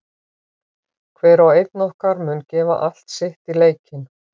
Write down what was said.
Hver og einn okkar mun gefa allt sitt í leikinn.